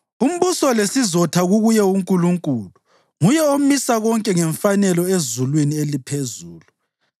“Umbuso lesizotha kukuye uNkulunkulu; nguye omisa konke ngemfanelo ezulwini eliphezulu.